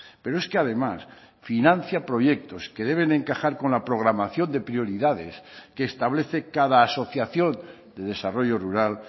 pero es que además financia proyectos que deben encajar con la programación de prioridades que establece cada asociación de desarrollo rural